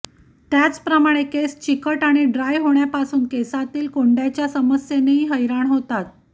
त्याचप्रमाणे केस चिकट आणि ड्राय होण्यापासून केसांतील कोंड्याच्या समस्येनेही हैराण होतात